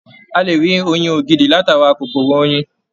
A lè rí oyin ògidì látara kòkòrò oyin.